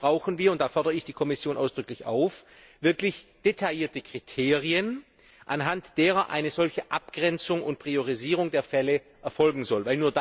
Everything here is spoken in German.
Dafür brauchen wir und da fordere ich die Kommission ausdrücklich auf wirklich detaillierte Kriterien, anhand deren eine solche Abgrenzung und Priorisierung der Fälle erfolgen soll.